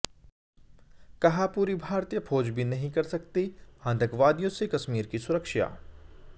कहा पूरी भारतीय फौज भी नहीं कर सकती आतंकवादियों से कश्मीर की सुरक्षा